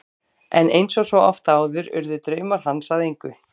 En eins og svo oft áður urðu draumar hans að engu.